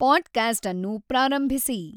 podcast ಅನ್ನು ಪ್ರಾರಂಭಿಸಿ